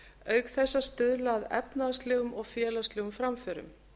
auk þess að stuðla að efnahagslegum og félagslegum framförum